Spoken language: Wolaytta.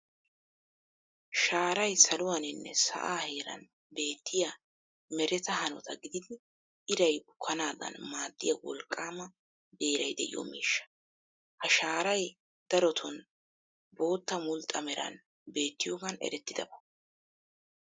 Shaaray saluwaaninne sa'aa heeran beettiyaa mereta hanota gididi iray bukkanaadan maadiyaa wolqqaama beeray de'iyoo miishsha. Ha shaaray daroton boottan mulxxa meran beettiyoogan eretidabaa.